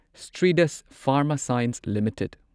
Strides Pharma Science limited